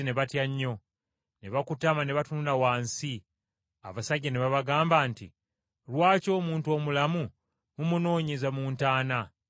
Abakazi ne batya nnyo, ne bakutama ne batunula wansi, abasajja ne babagamba nti, “Lwaki omuntu omulamu mumunoonyeza mu ntaana?